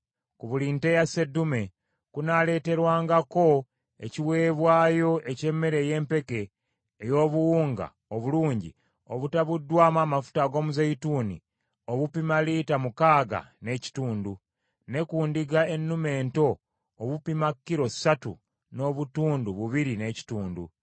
Ku buli nte ya sseddume kunaaleeterwangako ekiweebwayo eky’emmere ey’empeke ey’obuwunga obulungi obutabuddwamu amafuta ag’omuzeeyituuni obupima lita mukaaga n’ekitundu; ne ku ndiga ennume ento obupima kilo ssatu n’obutundu bubiri n’ekitundu,